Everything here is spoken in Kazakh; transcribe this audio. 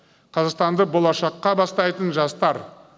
қазақстанды болашаққа бастайтын жастар